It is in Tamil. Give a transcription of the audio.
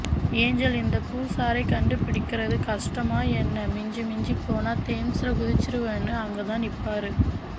ஏஞ்சல் இந்தப் பூஸாரைக் கண்டு பிடிக்கறது கஷ்டமா என்ன மிஞ்சிப் மிஞ்சிப் போனா தேம்ஸ்ல குதிச்சுருவேன்னு அங்கதான் நிப்பாரு